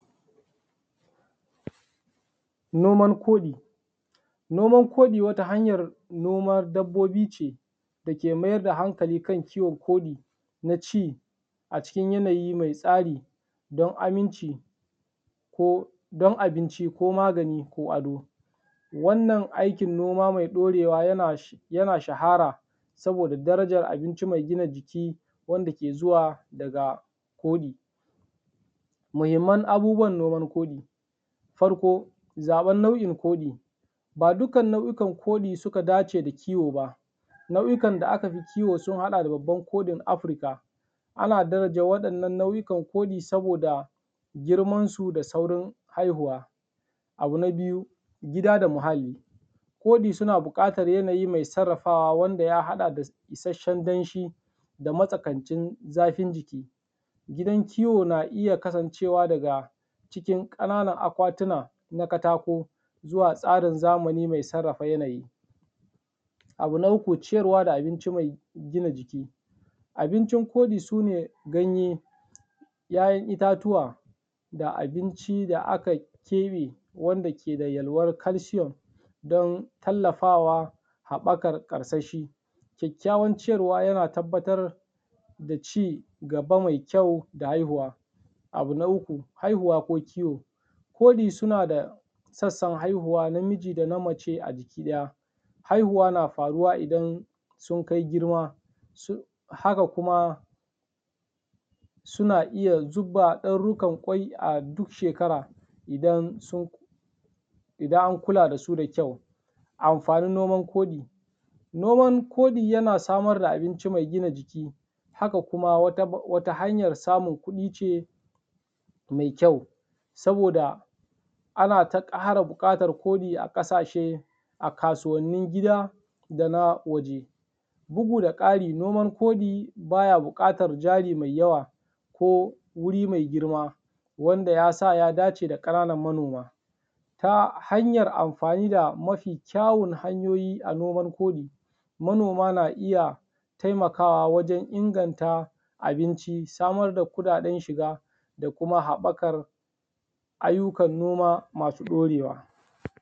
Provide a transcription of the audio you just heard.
Noman koɗi. Noman koɗi wata hanyar noman dabbobi ce dake mayar da hankali kan kiwon koɗi na ci acikin yanayi mai tsari don aminci ko don abinci ko magani ko ado. Wannan aikin noma mai ɗorewa yana yana shahara saboda darajar abinci mai gina jiki wanda ke zuwa daga koɗi. Muhimman abubuwan noman koɗi; farko, zaɓen nau’in koɗi; ba dukkan nau’ukan koɗi suka dace da kiwo ba, nau’ukan da aka fi kiwo sun haɗa da babban koɗin Afirka, ana daraja waɗannan nau’ikan koɗi saboda girmansu da saurin haihuwa. Abu na biyu, gida da muhalli; koɗi suna buƙatar yanayi mai sarrafawa wanda ya haɗa da isasshen danshi da matsakaicin zafin jiki. Gidan kiwo na iya kasancewa daga cikin ƙananan akwatuna na katako zuwa tsarin zamani mai sarrafa yanayi. Abu na uku, ciyarwa da abinci mai gina jiki; abincin koɗi sune ganye, ‘ya’yan itatuwa da abinci da aka keɓe wanda ke da yalwan calcium don tallafawa haɓakar karsashi. Kyakkyawan ciyarwa yana tabbatar da cigaba mai kyau da haihuwa. Abu na uku, haihuwa ko kiwo; koɗi suna da sassan haihuwa namiji da na mace a jiki ɗaya, haihuwa na faruwa idan sun kai girma su haka kuma suna iya zuba ɗarurrukan ƙwai a duk shekara idan sun idan an kula da su da kyau. Amfanin noman koɗi: Noman koɗi yana samar da abinci mai gina jiki, haka kuma wata hanyar samun kuɗi ce mai kyau, saboda ana ta ƙara buƙatar koɗi a ƙasashe a kasuwannin gida da na waje. Bugu da ƙari, nomar koɗi baya buƙatar jari mai yawa ko wuri mai girma wanda ya sa ya dace da ƙananan manoma, ta hanyar amfani da mafi kyauwun hanyoyi a nomar koɗi, manoma na iya taimakawa wajen inganta abinci samar da kuɗaɗen shiga da kuma haɓakar ayyukan noma masu ɗorewa.